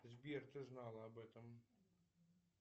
сбер ты знал об этом